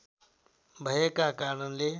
भएका कारणले